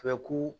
Bɛ ku